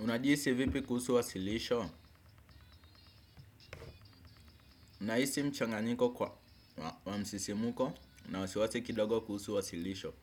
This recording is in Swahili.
Unajihisi vipi kuhusu wasilisho? Nahisi mchanganyiko wa msisimuko na wasiwasi kidogo kuhusu wasilisho.